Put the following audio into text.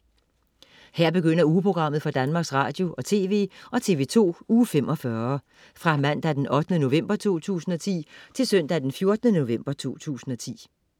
Her begynder ugeprogrammet for Danmarks Radio- og TV og TV2 Uge 45 Fra Mandag den 8. november 2010 Til Søndag den 14. november 2010